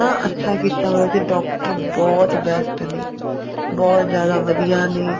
ਹਾਂ ਅੱਛਾ ਕੀਤਾ ਹੋਇਆ ਸੀ doctor ਬਹੁਤ best ਨੇ ਬਹੁਤ ਜਿਆਦਾ ਵਧੀਆ ਨੇ